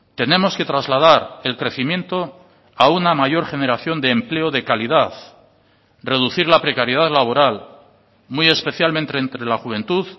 tenemos que trasladar el crecimiento a una mayor generación de empleo de calidad reducir la precariedad laboral muy especialmente entre la juventud